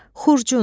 Xurcun.